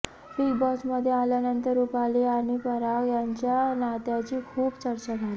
big बॉसमध्ये आल्यानंतर रुपाली आणि पराग यांच्या नात्याची खूप चर्चा झाली